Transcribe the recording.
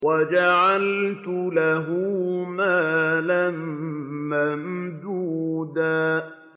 وَجَعَلْتُ لَهُ مَالًا مَّمْدُودًا